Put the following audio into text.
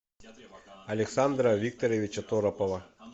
александра викторовича торопова